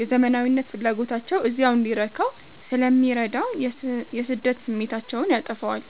የዘመናዊነት ፍላጎታቸው እዚያው እንዲረካ ስለሚረዳ የስደት ስሜታቸውን ያጠፋዋል።